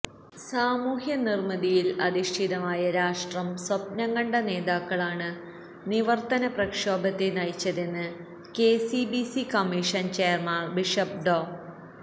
സാമൂഹ്യനിര്മ്മിതിയില് അധിഷ്ഠിതമായ രാഷ്ട്രം സ്വപ്നം കണ്ട നേതാക്കളാണ് നിവര്ത്തനപ്രക്ഷോഭത്തെ നയിച്ചതെന്ന് കെസിബിസി അല്മായ കമ്മീഷന് ചെയര്മാന് ബിഷപ് ഡോ